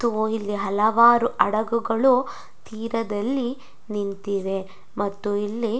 ಇಲ್ಲಿ ಹಲವಾರು ಹಡಗುಗಳು ತೀರದಲ್ಲಿ ನಿಂತಿದೆ ಮತ್ತು ಇಲ್ಲಿ--